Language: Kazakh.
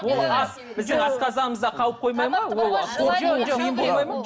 ол ас біздің асқазанымызда қалып қоймайды ма